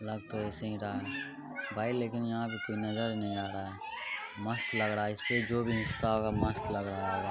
लग तो ऐसे ही रहा है भाई लेकिन यहाँ पे कोई नजर नहीं आ रहा है मस्त लग रहा है इस पे जो भी मस्त लग रहा होगा।